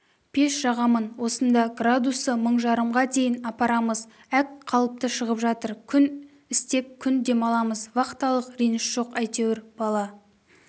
пеш жағамын осында градусы мың жарымға дейін апарамыз әк қалыпты шығып жатыр күн істеп күн демаламыз вахталық реніш жоқ әйтеуір бала